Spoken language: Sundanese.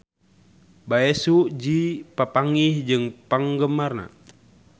Bae Su Ji papanggih jeung penggemarna